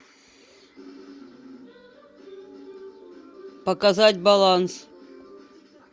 показать баланс